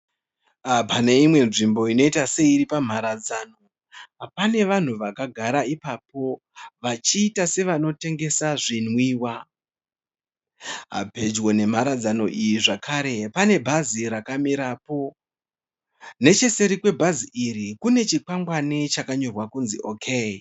Pane imwe nzvimbo inoita seiri pamharara dzano. Pane vanhu vakagara ipapo vachiita sevanotengesa zvinwiwa. Pedyo nemharadzano iyi zvakare pane bhazi rakamirapo. Necheseri kwebhazi iri kune chikwangwani chakanyorwa kuti OK.